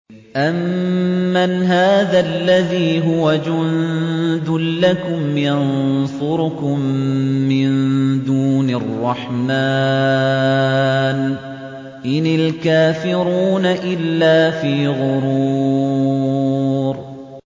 أَمَّنْ هَٰذَا الَّذِي هُوَ جُندٌ لَّكُمْ يَنصُرُكُم مِّن دُونِ الرَّحْمَٰنِ ۚ إِنِ الْكَافِرُونَ إِلَّا فِي غُرُورٍ